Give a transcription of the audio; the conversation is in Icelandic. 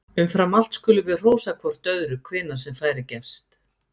Umfram allt skulum við hrósa hvort öðru hvenær sem færi gefst!